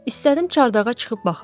İstədim çardağa çıxıb baxım.